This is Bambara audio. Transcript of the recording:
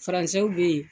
Faransɛw bɛ yen